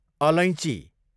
अलैँची